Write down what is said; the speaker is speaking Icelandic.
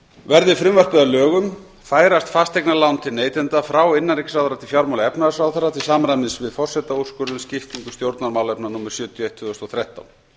verði frumvarpið að lögum færast fasteignalán til neytenda frá innanríkisráðherra til fjármála og efnahagsráðherra til samræmis við forsetaúrskurð um skiptingu stjórnarmálefna númer sjötíu og eitt tvö þúsund og þrettán